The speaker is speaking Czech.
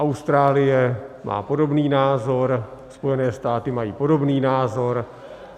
Austrálie má podobný názor, Spojené státy mají podobný názor.